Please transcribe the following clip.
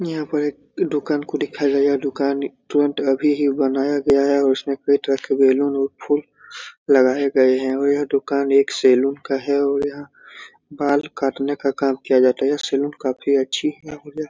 यहाँ पर एक दुकान को दिखाया गया है दुकान तुरंत अभी ही बनाया गया है और उसमें एक पेट रखे बेलून उ फूल लगाए गए हैं और यह दुकान एक सैलून का है और यहाँ बाल काटने का काम किया जाता है सैलून काफी अच्छी है |